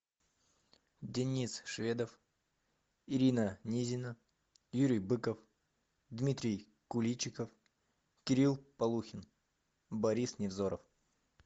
денис шведов ирина низина юрий быков дмитрий куличиков кирилл полухин борис невзоров